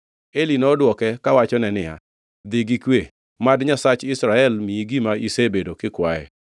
Eli nodwoke kawachone niya, “Dhi gi kwe, mad Nyasach Israel miyi gima isebedo kikwaye.”